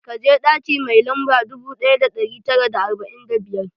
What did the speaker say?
Ka je ɗaki mai lamba dubu ɗaya da ɗari tara da arba'in da biyar!